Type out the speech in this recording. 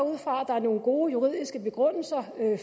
ud fra at der er nogle gode juridiske begrundelser for men jeg